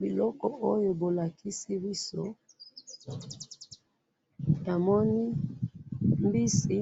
biloko oyo bo lakisi biso na moni mbisi